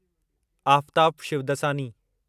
Aftab Shivdasani